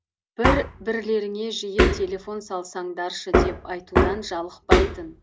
бір бірлеріңе жиі телефон салсаңдаршы деп айтудан жалықпайтын